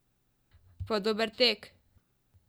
Pa dober tek!